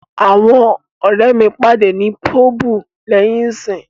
Awọn ọrẹ mi pade ni Pubu lẹhin iṣẹ.